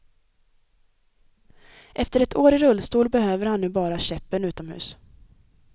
Efter ett år i rullstol, behöver han nu bara käppen utomhus.